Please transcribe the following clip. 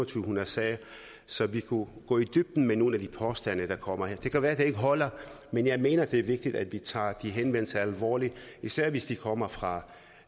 hundrede sager så vi kunne gå i dybden med nogle af de påstande der kommer her det kan jo være det ikke holder men jeg mener det er vigtigt at vi tager de henvendelser alvorligt især hvis de kommer fra